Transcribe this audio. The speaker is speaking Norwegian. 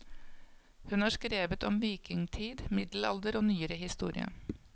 Hun har skrevet om vikingtid, middelalder og nyere historie.